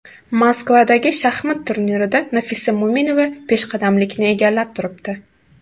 Moskvadagi shaxmat turnirida Nafisa Mo‘minova peshqadamlikni egallab turibdi.